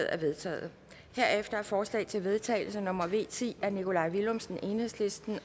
er vedtaget herefter er forslag til vedtagelse nummer v ti af nikolaj villumsen